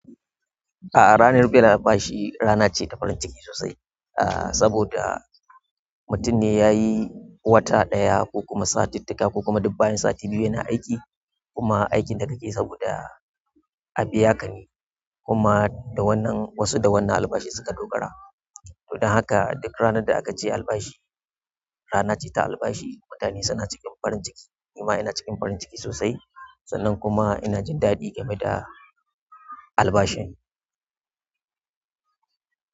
A'a ranar biyan albashi rana ce ta farin ciki sosai, ah saboda mutum ne ya yi wata ɗaya ko kuma sati taka ko kuma dubbayan sati biyu yana aiki, kuma aikin da ka ke saboda a biya ka ne. Kuma da wannan wasu da wannan albashi suka dogara. Don haka duk ranar da aka ce albashi rana ce ta albashi, mutane suna cikin farin ciki. Ni ma ina cikin farin ciki sosai, sannan kuma ina jin daɗi game da albashin.